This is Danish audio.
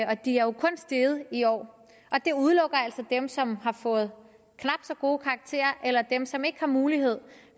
og de er jo kun steget i år og det udelukker altså dem som har fået knap så gode karakterer eller dem som ikke har mulighed